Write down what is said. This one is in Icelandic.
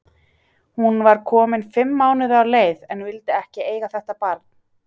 Hún var komin fimm mánuði á leið, en vildi ekki eiga þetta barn.